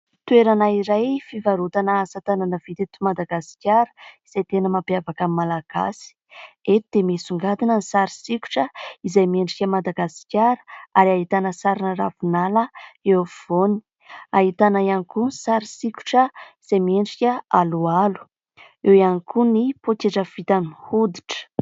Toerana iray fivarotana asatanana vita eto Madagasikara izay tena mampiavaka ny Malagasy. Eto dia misongadina ny sary sokitra izay miendrika Madagasikara ary ahitana sarina ravinala eo afovoany. Ahitana ihany koa sary sokitra izay miendrika aloalo. Eo ihany koa ny poketra vita amin'ny hoditra.